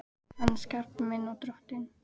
Hann er skapari minn og Drottinn.